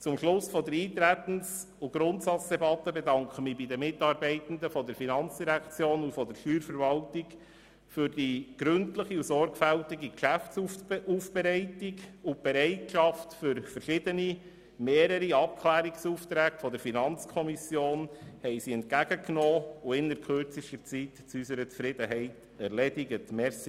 Zum Schluss der Eintretens- und Grundsatzdebatte bedanke ich mich bei den Mitarbeitenden der FIN und der Steuerverwaltung für die gründliche und sorgfältige Geschäftsaufbereitung und die Bereitschaft für verschiedene Abklärungsaufträge der FiKo, die sie entgegengenommen und innert kürzester Zeit zu unserer Zufriedenheit erledigt haben.